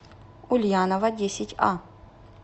ульянова десятьа